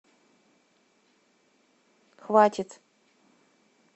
хватит